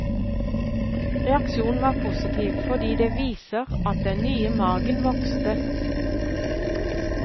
Reaksjonen var positiv fordi det viser at den nye margen vokste.